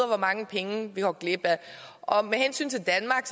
hvor mange penge vi går glip af med hensyn til danmark